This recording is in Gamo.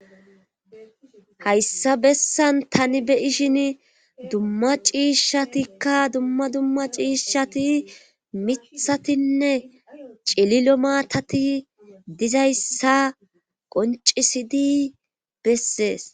hayssa bessan tani be'shini dumma ciishshatikka dumma dumma ciishshati mithatinne cililo maatati dizayssa qoncisidi bessees